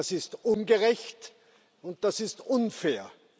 Das ist ungerecht, und das ist unfair.